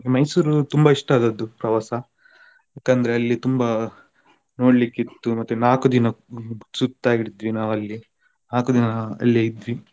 Mysore ತುಂಬಾ ಇಷ್ಟ ಆದದ್ದು ಪ್ರವಾಸ ಯಾಕಂದ್ರೆ ಅಲ್ಲಿ ತುಂಬಾ ನೋಡ್ಲಿಕ್ಕಿತ್ತು ಮತ್ತೆ ನಾಕು ದಿನಕ್ಕು ಸುತ್ತಾ ಇದ್ವಿ ಅಲ್ಲಿಯೇ ನಾಕು ದಿನ ಅಲ್ಲೇ ಇದ್ವಿ.